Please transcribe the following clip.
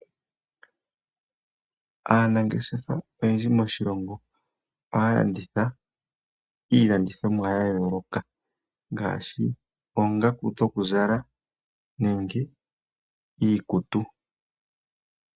Aanangeshefa oyendji moshilongo ohaya landitha iilandithomwa ya yooloka ngaashi, oongaku dhokuzala nenge iikutu.